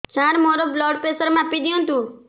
ସାର ମୋର blood pressure ମାପି ଦିଅନ୍ତୁ